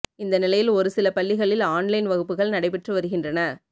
இந்த நிலையில் ஒரு சில பள்ளிகளில் ஆன்லைன் வகுப்புகள் நடைபெற்று வருகின்றன